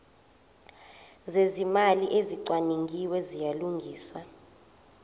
zezimali ezicwaningiwe ziyalungiswa